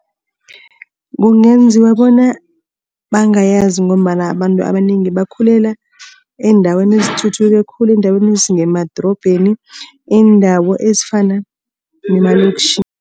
Kungenziwa bona bangayazi ngombana abantu abanengi bakhulela eendaweni ezithuthuke khulu. Eendaweni ezingemadorobheni, iindawo ezifana nemaloktjhini